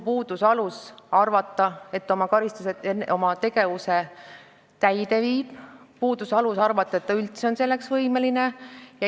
Puudus alus arvata, et ta oma tegevuse täide viib, puudus alus arvata, et ta on üldse selleks võimeline.